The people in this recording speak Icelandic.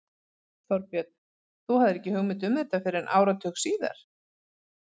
Þorbjörn: Þú hafðir ekki hugmynd um þetta fyrr en áratug síðar?